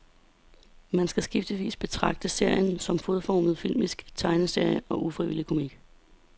Man skal skiftevis betragte serien som fodformet filmisk tegneserie og ufrivillig komik.